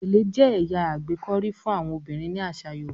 gèlè n jẹ ẹya agbekọri fún àwọn obìrin ní asa yoruba.